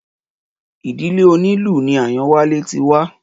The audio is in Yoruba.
Ìdílé onílù ni Àyánwálé ti wá